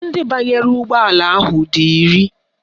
Ndị banyere ụgbọala ahụ dị iri